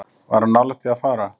Var hann nálægt því að fara?